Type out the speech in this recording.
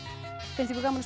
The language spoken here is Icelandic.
finnst ykkur gaman